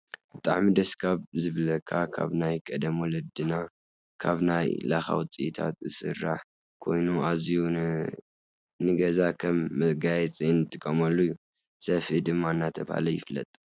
ብጣዕሚ ደስ ካብ ዝብለካ ካብ ናይ ቀደም ወለድናካብ ናይ ላካ ውፅኢታት ዝስራሕ ኮይኑ ኣዝዩ ንገዛ ከም መጋየፂ ንጥቀመሉ እዩ። ሰፍኢ ድማ እናተባህለ ይፍለጥ።